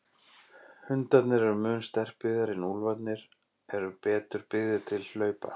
Hundarnir eru mun sterklegri en úlfarnir eru betur byggðir til hlaupa.